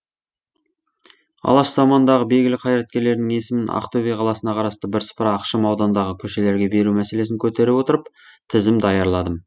алаш заманындағы белгілі қайраткерлерінің есімін ақтөбе қаласына қарасты бірсыпыра ықшам аудандағы көшелерге беру мәселесін көтере отырып тізім даярладым